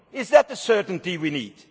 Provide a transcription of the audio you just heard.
Is that the certainty we need?